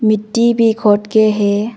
मिट्टी भी खोद के है।